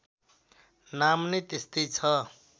नाम नै त्यस्तै छ